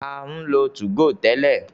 A ń lo 2go tẹ́lẹ̀.